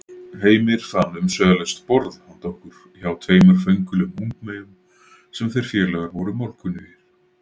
Heimir fann umsvifalaust borð handa okkur hjá tveimur föngulegum ungmeyjum sem þeir félagar voru málkunnugir.